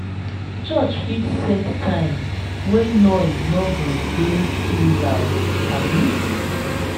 church fit set time wey noise no go dey too loud abi?